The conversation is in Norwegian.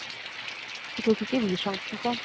Det tok ikke vi sjansen på.